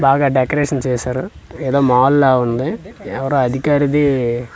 బాగా డెకరేషన్ చేశారు ఏదో మాల్ లా ఉంది ఎవరో అధికారిది--